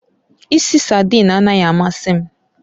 Ìsì saidin anaghị amasị m